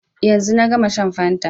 Yanzu na gama shan fanta